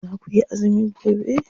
Za kuyi azumi gobe?